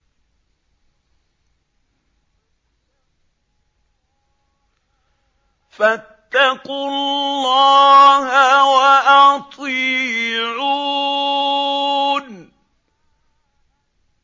فَاتَّقُوا اللَّهَ وَأَطِيعُونِ